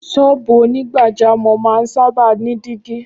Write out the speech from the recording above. Ṣọ́ọ̀bù onígbàjámọ́ máa ń sábà ní dígí